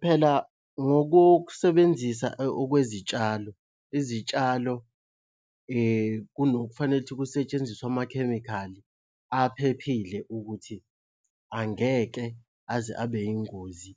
Phela ngokokusebenzisa okwezitshalo, izitshalo kunokufanele ukuthi kusetshenziswe amakhemikhali aphephile ukuthi angeke aze abe yingozi